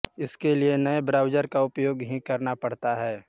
इसके लिए नए ब्राउज़र का उपयोग ही करना पड़ता है